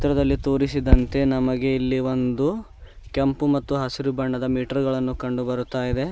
ಚಿತ್ರದಲ್ಲಿ ತೋರಿಸಿದಂತೆ ನಮಗೆ ಇಲ್ಲಿ ಒಂದು ಕೆಂಪು ಮತ್ತು ಹಸಿರು ಬಣ್ಣದ ಮೀಟರ್ ಗಳನ್ನು ಕಂಡು ಬರುತ್ತಾ ಇದೆ.